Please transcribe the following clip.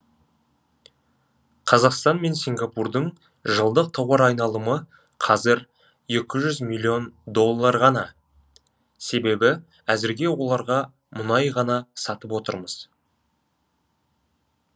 қазақстан мен сингапурдың жылдық тауар айналымы қазір екі жүз миллион доллар ғана себебі әзірге оларға мұнай ғана сатып отырмыз